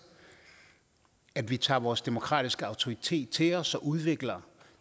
at vi tager vores demokratiske autoritet til os og udvikler